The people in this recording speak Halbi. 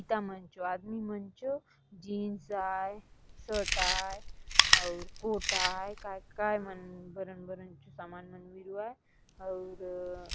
गीता मन जो आदमी मन चो जींस आए शर्ट आए और कोटा आए काय मन बरन बरन जो सामान मन मिरुआय और--